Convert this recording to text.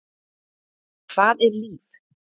Hvað er líf?